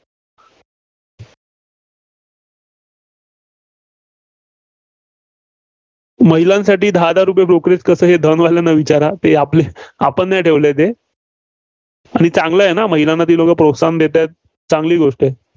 महिलांसाठी दहा दहा रुपये brokerage कसं हे वाल्यांना विचारा. ते आपले आपण नाही ठेवलंय ते. आणि चांगलं आहे ना? महिलांना ती लोकं प्रोत्साहन देतायंत, चांगली गोष्ट आहे.